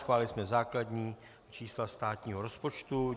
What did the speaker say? Schválili jsme základní čísla státního rozpočtu.